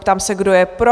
Ptám se, kdo je pro?